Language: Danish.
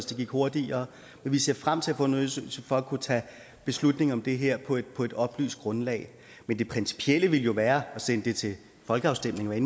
det gik hurtigere men vi ser frem til at undersøgelse for at kunne tage beslutning om det her på et på et oplyst grundlag men det principielle ville jo være at sende det til folkeafstemning hvad